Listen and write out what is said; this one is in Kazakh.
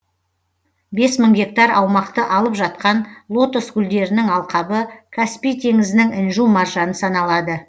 бес мың гектар аумақты алып жатқан лотос гүлдерінің алқабы каспий теңізінің інжу маржаны саналады